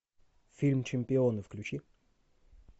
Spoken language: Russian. фильм чемпионы включи